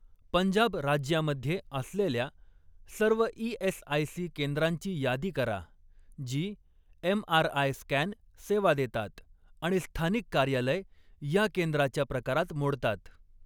पंजाब राज्यामध्ये असलेल्या सर्व ई.एस.आय.सी. केंद्रांची यादी करा जी एमआरआय स्कॅन सेवा देतात आणि स्थानिक कार्यालय या केंद्राच्या प्रकारात मोडतात.